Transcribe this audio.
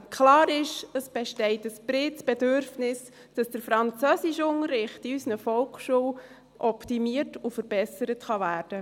Klar ist, es besteht ein bereits Bedürfnis, dass der Französischunterricht in unserer Volksschule op- timiert und verbessert werden kann.